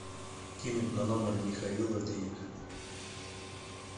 кинуть на номер михаила денег